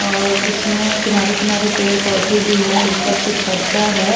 और इसमें किनारे किनारे पेड़ पौधे भी हैं ऊपर से छज्जा है।